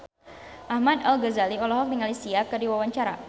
Ahmad Al-Ghazali olohok ningali Sia keur diwawancara